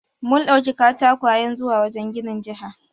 Mun ɗauki katakwayen zuwa wajen ginin jiha.